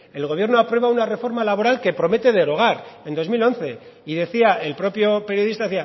el gobierno aprueba una reforma laboral que promete derogar en dos mil once y decía el propio periodista